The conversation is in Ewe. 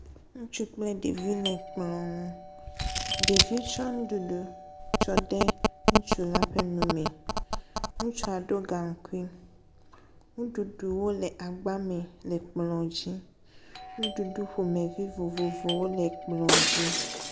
Ŋutsu kple ɖevi le ekplɔ nu. Ɖevi tsɔ nuɖuɖu tsɔ de ŋutsu la ƒe nu me. Ŋutsua ɖo gaŋkui. Nuɖuɖuwo le agba me le kplɔa dzi. Nuɖuɖu ƒomevi vovovowo le kplɔ dzi.